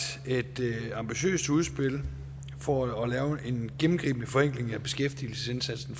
et ambitiøst udspil for at lave en gennemgribende forenkling af beskæftigelsesindsatsen